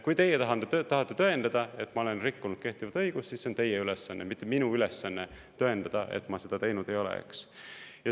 Kui teie tahate tõendada, et ma olen rikkunud kehtivat õigust, siis see on teie ülesanne, mitte minu ülesanne tõendada, et ma seda teinud ei ole.